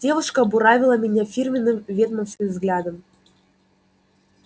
девушка буравила меня фирменным ведьмовским взглядом